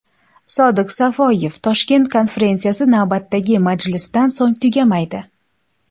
Sodiq Safoyev: Toshkent konferensiyasi navbatdagi majlisdan so‘ng tugamaydi.